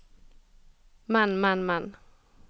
men men men